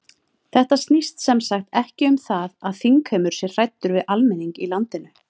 Þetta snýst sem sagt ekki um það að þingheimur sé hræddur við almenning í landinu?